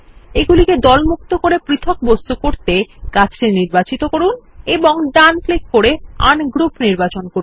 এগুলিকে দলমুক্ত করে পৃথক বস্তু করতে গাছটি নির্বাচিত করুন এবং ডান ক্লিক করে আনগ্রুপ নির্বাচন করুন